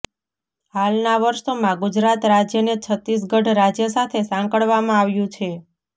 હાલના વર્ષોમાં ગુજરાત રાજ્યને છત્તીસગઢ રાજ્ય સાથે સાંકળવામાં આવ્યું છે